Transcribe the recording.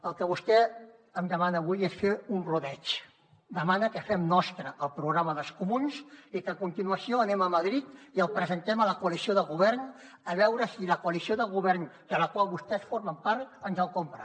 el que vostè em demana avui és fer un rodeig demana que fem nostre el programa dels comuns i que a continuació anem a madrid i el presentem a la coalició de govern a veure si la coalició de govern de la qual vostès formen part ens el compra